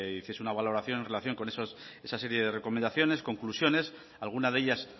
hiciese una valoración en relación con esa serie de recomendaciones conclusiones alguna de ellas